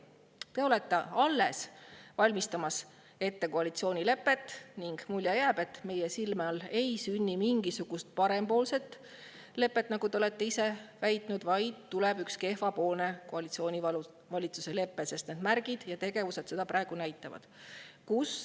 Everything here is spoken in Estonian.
Te olete alles valmistamas ette koalitsioonilepet ning jääb mulje, et meie silme all ei sünni mingisugust parempoolset lepet, nagu te olete ise väitnud, vaid tuleb üks kehvapoolne koalitsioonivalitsuse lepe, sest märgid ja tegevused seda praegu näitavad.